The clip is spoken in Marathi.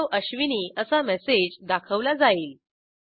हेल्लो अश्विनी असा मेसेज दाखवला जाईल